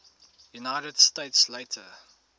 united states later